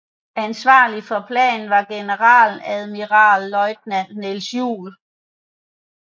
Ansvarlig for planen var generaladmiralløjtnant Niels Juel